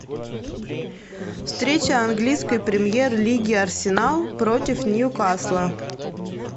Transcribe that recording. встреча английской премьер лиги арсенал против ньюкасла